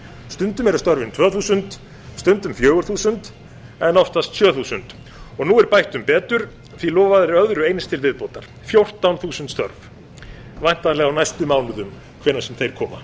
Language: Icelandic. stundum eru störfin tvö þúsund stundum fjögur þúsund en oftast sjö þúsund og nú er bætt um betur því að lofað er öðru eins til viðbótar fjórtán þúsund störfum væntanlega á næstu mánuðum hvenær sem þeir koma